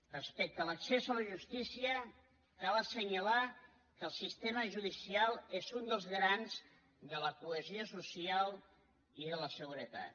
respecte a l’accés a la justícia cal assenyalar que el sistema judicial és un dels garants de la cohesió social i de la seguretat